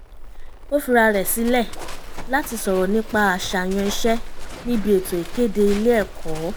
ó fira rẹ̀ sílẹ̀ láti sọ̀rọ̀ nípa àṣààyàn iṣẹ́ níbi ètò ìkéde ilé ẹ̀kọ́